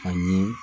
A ye